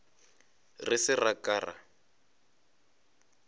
re se ra ka ra